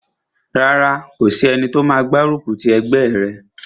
Rárá, kò sí ẹni tó máa gbárùkù ti ẹgbẹ́ rẹ̀